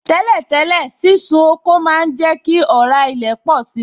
Tẹ́lẹ̀ tẹ́lẹ̀, sísun oko má ń jẹ kí ọ̀rá ilẹ̀ pọ̀si